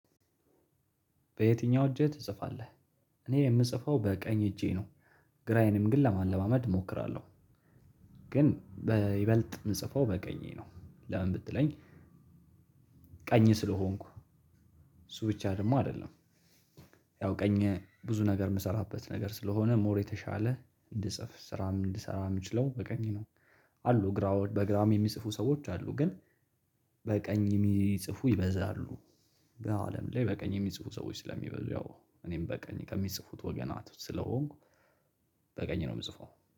በየትኛው እጅህ ትጽፋለህ? እኔ የምጽፈው በቀኝ እጄ ነው። ግራዬንም ግን ለማለማመድ እሞክራለሁ። ግን በይበልጥ የምጽፈው በቀኝ ነው ለምን ብትለኝ። ቀኝ ስለሆንኩ እሱ ብቻ ደግሞ አይደለም። ያው ቀኝ ብዙ ነገር የምሰራበት ነገር ስለሆነ ሞር የተሻለ እንድጽፍ ስራም እንድሰራ የምችለው በቀኝ ነው። አሉ ግራዎች በግራም የሚጽፉ ሰዎች አሉ ግን። በቀኝ የሚጽፉ ይበዛሉ። በአለም ላይ በቀኝ የሚጽፉ ሰዎች ስለሚበዙ ያው እኔም በቀኝ ከሚጽፉት ወገናት ስለሆንኩ በቀኝ ነው የምጽፈው።